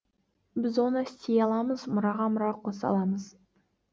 біз оны істей аламыз мұраға мұра қоса аламыз